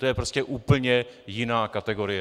To je prostě úplně jiná kategorie.